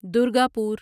Durgapur